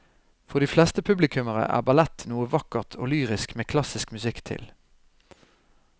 For de fleste publikummere er ballett noe vakkert og lyrisk med klassisk musikk til.